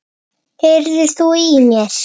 HEYRIR ÞÚ Í MÉR?!